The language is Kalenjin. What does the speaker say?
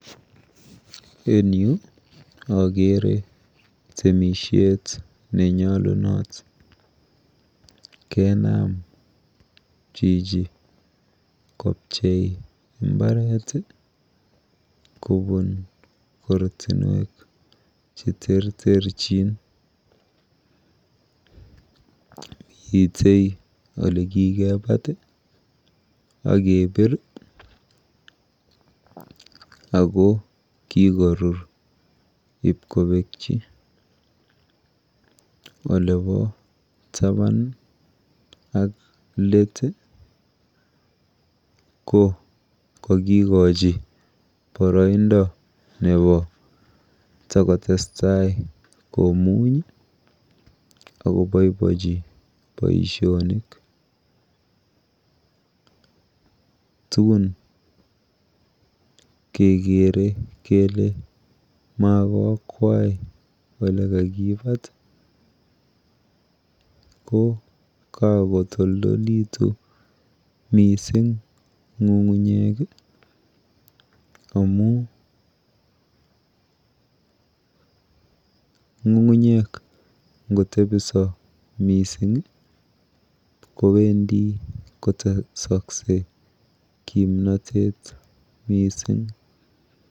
Eng yu akere temishet nenyolunot. Kenam chichi kopchei mbaret kobun ortinwek cheterterchin. Mite olekikepat akepir ako kikorur ipkopekchi. Olepo taban ak let ko kakikochi boroindo nepo takotestai komuny akopoipochi boishonik. Tuun kekere kele makoakwai olekakipat ko kakotoldolitu mising ng'ung'unyek amu ng'ung'unyek ngotepiso mising kowendi kotesokse kimnotet mising.